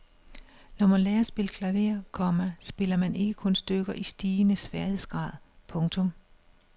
Når man lærer at spille klaver, komma spiller man ikke kun stykker i stigende sværhedsgrad. punktum